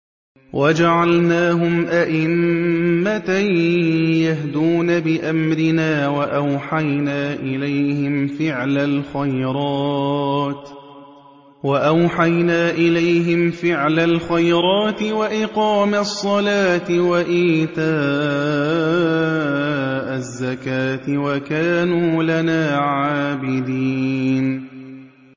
وَجَعَلْنَاهُمْ أَئِمَّةً يَهْدُونَ بِأَمْرِنَا وَأَوْحَيْنَا إِلَيْهِمْ فِعْلَ الْخَيْرَاتِ وَإِقَامَ الصَّلَاةِ وَإِيتَاءَ الزَّكَاةِ ۖ وَكَانُوا لَنَا عَابِدِينَ